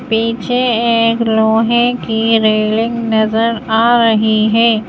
पीछे एक लोहे की रेलिंग नजर आ रही है।